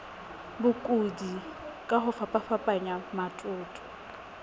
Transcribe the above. bokudi ka ho fapafapana matoto